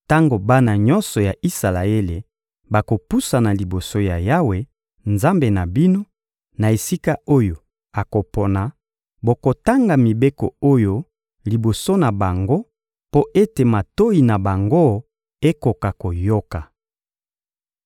tango bana nyonso ya Isalaele bakopusana liboso ya Yawe, Nzambe na bino, na esika oyo akopona, bokotanga mibeko oyo liboso na bango mpo ete matoyi na bango ekoka koyoka.